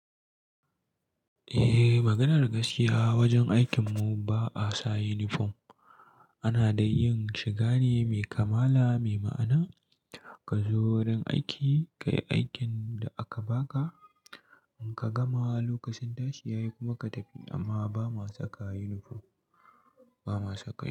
Eh, maganar gaskiya wajen aikin mu ba a sa yunifom. Ana da yin shiga ne mai kamala, mai ma'ana. Ka zo wurin aiki, ka yi aikin da aka baka, in ka gama lokacin tashi ya yi kuma ka tafi amma ba ma saka yunifom, ba ma saka.